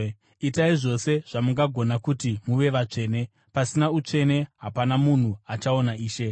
Itai zvose zvamungagona kuti muve vatsvene; pasina utsvene hapana munhu achaona Ishe.